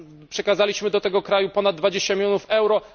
Przekazaliśmy do tego kraju ponad 20 milionów euro.